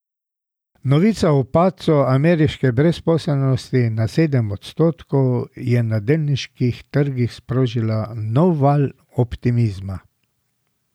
Novica o padcu ameriške brezposelnosti na sedem odstotkov je na delniških trgih sprožila nov val optimizma.